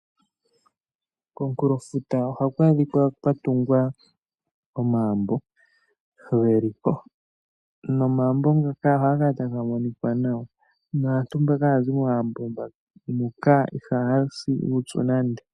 Komunkulo futa ohaku adhikwa kwa tungwa oomambo geli po. Nomaambo ngaka ohaga kala taga monika nawa. Naantu mbaka haya zi momaambo muka ihaya si uupyu nande.